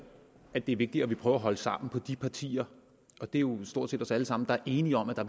at det er vigtigere at vi prøver at holde sammen på de partier og det er jo stort set alle sammen der er enige om at der